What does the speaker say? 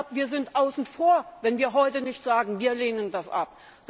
Wir sind außen vor, wenn wir heute nicht sagen, wir lehnen das ab.